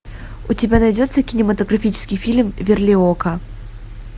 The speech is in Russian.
у тебя найдется кинематографический фильм верлиока